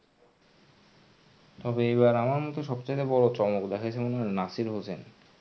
তবে এইবার আমার মতে সবচাইতে বড়ো চমক দেখাইসে নাসির হোসাইন. আজকে match এর শেষে